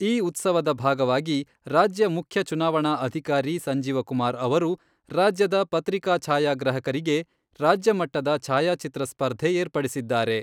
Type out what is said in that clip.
ಈ ಉತ್ಸವದ ಭಾಗವಾಗಿ ರಾಜ್ಯ ಮುಖ್ಯ ಚುನಾವಣಾ ಅಧಿಕಾರಿ ಸಂಜೀವಕುಮಾರ್ ಅವರು, ರಾಜ್ಯದ ಪತ್ರಿಕಾ ಛಾಯಾಗ್ರಾಹಕರಿಗೆ "ರಾಜ್ಯಮಟ್ಟದ ಛಾಯಾಚಿತ್ರ ಸ್ಪರ್ಧೆ ಏರ್ಪಡಿಸಿದ್ದಾರೆ.